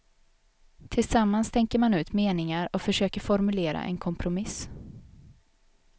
Tillsammans tänker man ut meningar och försöker formulera en kompromiss.